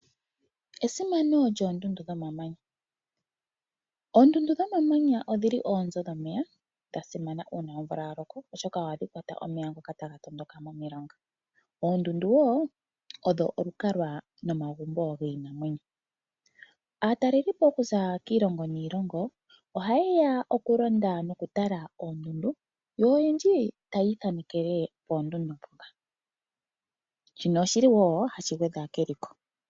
Esimano lyoondundu dhomamanya. Oondundu dhomamanya odhili oonzo dhomeya, dhasimana uuna omvula yaloko oshoka ohadhi kwata omeya ngoka taga tondoka momilonga. Oondundu wo odho olukalwa nomagumbo giinamwenyo. Aatalelipo okuza kiilongo niilongo, oha yeya oku londa noku tala oondundu yo oyendji tayi ithanekele poondundu dhoka. Shino oshiliwo hashi gwedha keliko.